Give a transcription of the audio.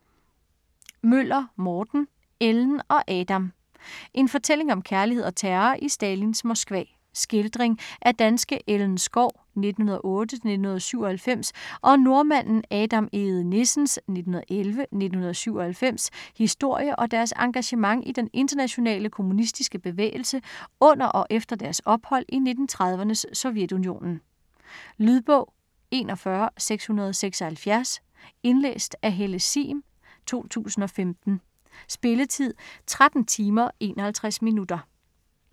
Møller, Morten: Ellen og Adam En fortælling om kærlighed og terror i Stalins Moskva. Skildring af danske Ellen Schou (1908-1997) og nordmanden Adam Egede-Nissens (1911-1997) historie og deres engagement i den internationale kommunistiske bevægelse under og efter deres ophold i 1930'ernes Sovjetunionen. Lydbog 41676 Indlæst af Helle Sihm, 2015. Spilletid: 13 timer, 51 minutter.